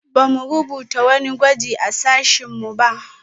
Ba mu rubuta wani gwaji a sashen mu ba